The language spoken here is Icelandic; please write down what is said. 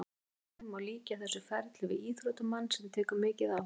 Í raun má líkja þessu ferli við íþróttamann sem tekur mikið á.